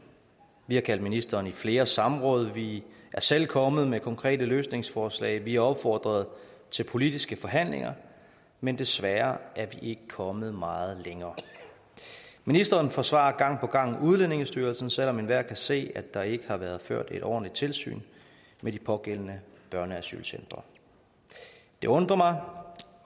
vi har kaldt ministeren i flere samråd vi er selv kommet med konkrete løsningsforslag vi har opfordret til politiske forhandlinger men desværre er vi ikke kommet meget længere ministeren forsvarer gang på gang udlændingestyrelsen selv om enhver kan se at der ikke har været ført et ordentligt tilsyn med de pågældende børneasylcentre det undrer mig